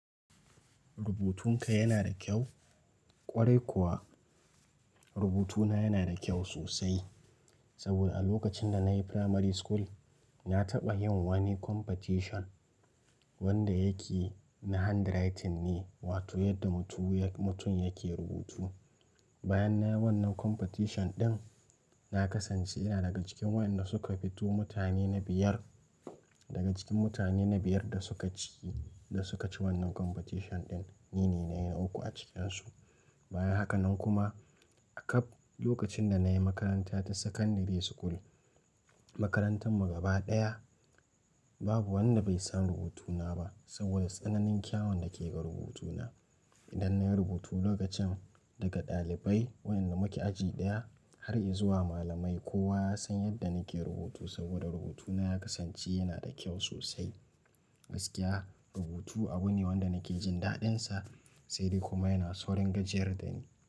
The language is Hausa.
Rubutunka yana da kyau? Kwarai kuwa rubutuna yana da kyau sosai. Saboda a lokacin da na yi primary school, na taɓa yin wani competition wanda yake na handwriting ne, wato yadda mutum yake rubutu. Bayan nayi wannan competition din, na kasance ina daga cikin wayanda suka fito mutane na biyar. Daga cikin mutane na biyar da suka ci da suka ci wannan competition din, ni ne na yi na uku a cikinsu. Bayan haka nan kuma a ƙaf lokacin da na yi makaranta ta secondary school, makarantan mu gaba ɗaya babu wanda bai san rubutuna ba saboda tsananin kyawun da ke ga rubutuna. Idan na yi rubutu lokacin daga ɗalibai wayanda muke aji ɗaya har izuwa malamai, kowa ya san yadda nake rubutu saboda rubutuna ya kasance yana da kyau sosai. Gaskiya rubutu abu ne wanda nake jin daɗinsa, sai dai kuma yana saurin gajiyar da ni.